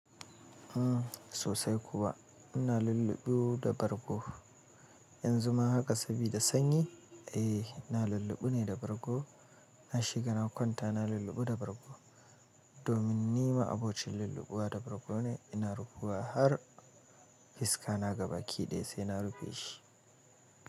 Uhm sosai kuwa ina lulluɓu da bargo. Yanzu ma haka sabida sanyi, eh na lulluɓu ne da bargo. Na shiga na kwanta na lulluɓu da bargo. Domin ni ma'abocin lulluɓuwa da bargo ne, ina rufuwa har fiska na ga baki ɗaya sai na rufe shi.